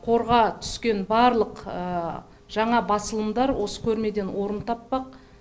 қорға түскен барлық жаңа басылымдар осы көрмеден орын таппақ